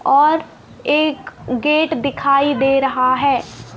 और एक गेट दिखाई दे रहा है।